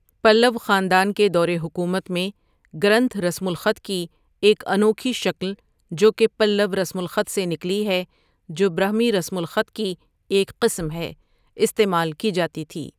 پلؤ خاندان کے دور حکومت میں، گرنتھ رسم الخط کی ایک انوکھی شکل، جو کہ پلؤ رسم الخط سے نکلی ہے جو برہمی رسم الخط کی ایک قسم ہے، استعمال کی جاتی تھی۔